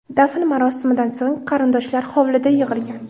Dafn marosimidan so‘ng, qarindoshlar hovlida yig‘ilgan.